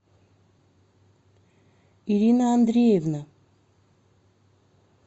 ирина андреевна